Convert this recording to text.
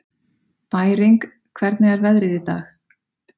Bæring, hvernig er veðrið í dag?